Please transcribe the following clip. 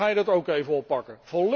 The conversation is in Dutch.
Laat hij dit ook even oppakken.